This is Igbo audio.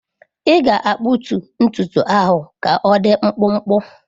Ị ga-akpụtu ntutu ahụ ka ọdị mkpụmkpụ!